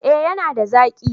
Eh ya na da zaki